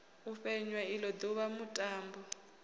u fhenywa ilo duvha mutambo